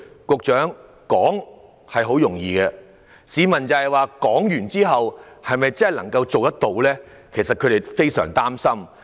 局長，說來容易，市民憂慮的是政府是否真的做得到，他們感到非常擔心。